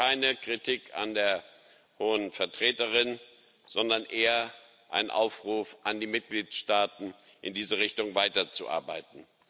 Das ist keine Kritik an der Hohen Vertreterin, sondern eher ein Aufruf an die Mitgliedstaaten, in dieser Richtung weiterzuarbeiten.